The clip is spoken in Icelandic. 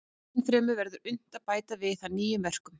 Ennfremur verður unnt að bæta við það nýjum verkum.